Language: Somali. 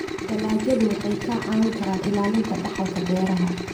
Dalagyadu waxay kaa caawin karaan ilaalinta dhaxalka beeraha.